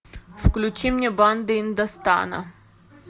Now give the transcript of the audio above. включи мне банды индостана